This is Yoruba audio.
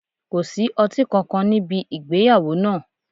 Ko sí ọti kankan nibi igbeyawo naa